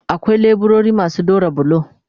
Akwai leburori masu daura bulo